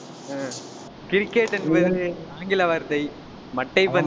ஆஹ் cricket என்பது ஆங்கில வார்த்தை மட்டைப் பந்து